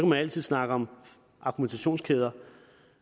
man altid snakke om argumentationskæder